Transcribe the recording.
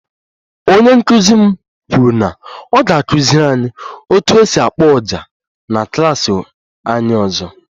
Onye nkụzi m kwuru na ọ ga-akụziri anyị otu esi akpo ọjà na klas anyị ọzọ